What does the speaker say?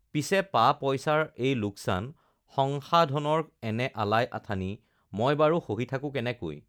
পিছে পা পইচাৰ এই লোকচান, সংসাধনৰ এনে আলাই আথানি মই বাৰু সহি থকো কেনেকৈ!